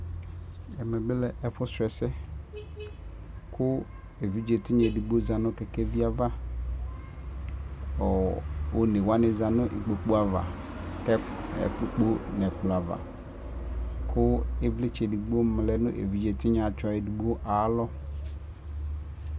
ɛmɛ bi lɛ ɛƒʋ srɔ ɛsɛ kʋ ɛvidzɛ tinya ɛdigbɔ dizanʋ kɛkɛvi aɣa, ɔnɛ wani zanʋ ikpɔkʋ aɣa kɛ ɛkpɔkpɔ nʋ ɛkplɔ aɣa kʋ ivlitsɛ ɛdigbɔ lɛnʋ ɛvidzɛ tsɔɛ alɔ